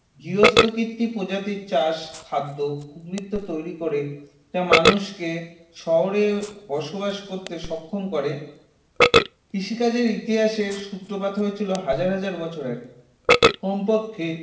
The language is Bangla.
গার্হস্থ্যকৃত প্রজাতির চাষ খাদ্য উদ্বৃত্ত তৈরি করে যা মানুষকে শহরে বসবাস করতে সক্ষম করে কৃষিকাজের ইতিহাসের সূত্রপাত হয়েছিল হাজার হাজার বছর আগে কমপক্ষে